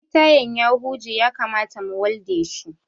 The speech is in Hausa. Ɗaya tayan ya huje ya kamata mu walde shi